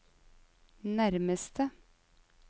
nærmeste